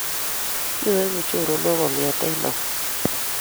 Kyoegu choronok kongeete au?